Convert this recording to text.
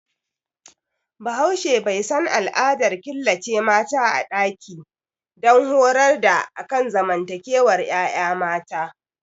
Bahaushe bai san al'adar killace mata a ɗaki don horar da akan zamantowar yaya mata